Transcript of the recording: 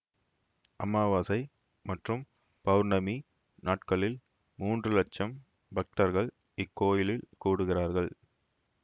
அமாவாசை மற்றும் பெளர்ணமி நாட்களில் மூன்று இலட்சம் பக்தர்கள் இக்கோயிலில் கூடுகிறார்கள்